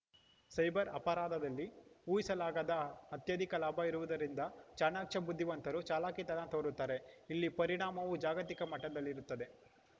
cyber ಅಪರಾಧದಲ್ಲಿ ಊಹಿಸಲಾಗದ ಅತ್ಯಧಿಕ ಲಾಭ ಇರುವುದರಿಂದ ಚಾಣಾಕ್ಷ ಬುದ್ಧಿವಂತರು ಚಾಲಾಕಿತನ ತೋರುತ್ತಾರೆ ಇಲ್ಲಿ ಪರಿಣಾಮವೂ ಜಾಗತಿಕ ಮಟ್ಟದಲ್ಲಿರುತ್ತದೆ